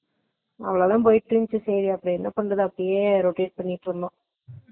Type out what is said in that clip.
ஓரளவு போயிட்டு இருந்துச்சு சரி என்னபன்றது அப்பிடியே rotate பண்ணிட்டு இருந்தே